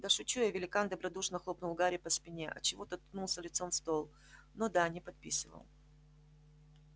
да шучу я великан добродушно хлопнул гарри по спине отчего тот ткнулся лицом в стол ну да не подписывал